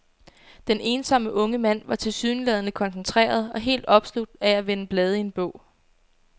Den ensomme unge mand var tilsyneladende koncentreret og helt opslugt af at vende blade i en bog.